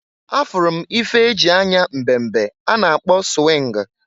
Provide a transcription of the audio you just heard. A furu m ife e ji anya mbe mbe a na-akpọ swingụ.